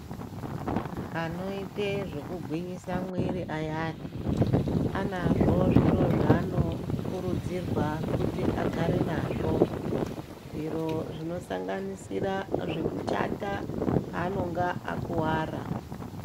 Anoite zvekugwinyisa muwiri zviyani anazvo zviro zvaano kurudzirwa kuti agare nazvo, zviro zvinosanganisira zvekuchata paanonga akuwara.